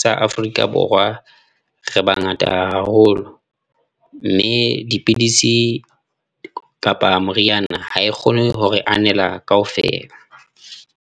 sa Afrika Borwa re bangata haholo, mme dipidisi kapa moriana ha e kgone hore anela kaofela.